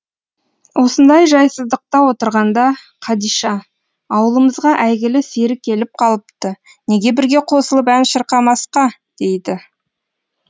осындай жайсыздықта отырғанда қадиша ауылымызға әйгілі сері келіп қалыпты неге бірге қосылып ән шырқамасқа дейді